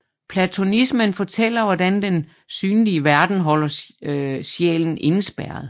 Platonismen fortæller hvordan den synlige verden holder sjælen indespærret